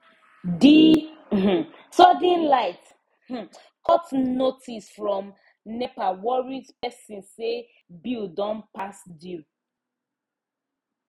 the um sudden light um cut notice from nepa worry person say bill don pass due